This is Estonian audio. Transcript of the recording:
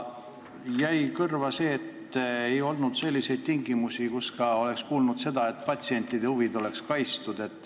Ja kõrva jäi see, et me ei kuulnud midagi selliste tingimuste kohta, et ka patsientide huvid oleks kaitstud.